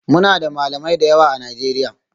Muna da Malamai da yawa a Najeriya